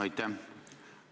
Aitäh!